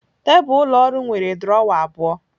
Tebụl ụlọ ọrụ nwere drọwa abụọ